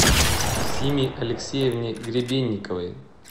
симе алексеевне гребенниковой